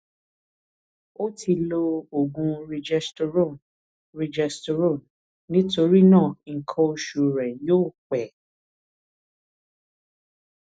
o ti lo oògùn regesterone regesterone nítorí náà nǹkan oṣù rẹ yóò pẹ